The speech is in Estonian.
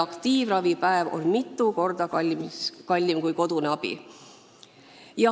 Aktiivravipäev on mitu korda kallim kui kodune abi.